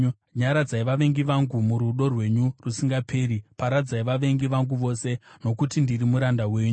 Nyaradzai vavengi vangu, murudo rwenyu rusingaperi; paradzai vavengi vangu vose, nokuti ndiri muranda wenyu.